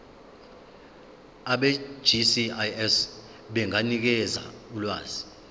abegcis benganikeza ulwazi